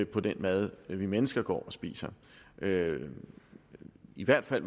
på den mad vi mennesker går og spiser i hvert fald